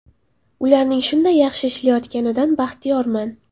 Ularning shunday yaxshi ishlayotganidan baxtiyorman.